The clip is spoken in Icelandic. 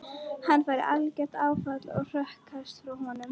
Hann fær algert áfall og hrökklast frá honum.